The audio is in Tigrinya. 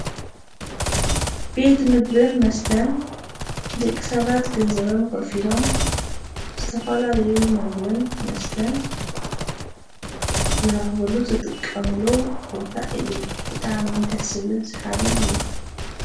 ቤት ምግብን መስተን ደቂ ሰባት ገንዘቦም ከፊሎም ዝተፈላለዩ ምግብን መስተን ዝረክብሉ ዝጥቀምሉ ቦታ እዩ፡፡ ብጣዕሚ ደስ ዝብልን ሰሓብን እዩ፡፡